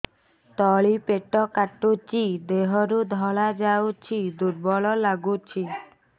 ତଳି ପେଟ କାଟୁଚି ଦେହରୁ ଧଳା ଯାଉଛି ଦୁର୍ବଳ ଲାଗୁଛି